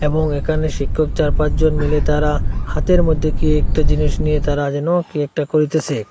এবং এখানে শিক্ষক চার পাঁচ জন মিলে তারা হাতের মধ্যে কি একটা জিনিস নিয়ে তারা যেন কি একটা করিতেসে।